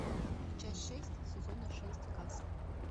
часть шесть сезона шесть касл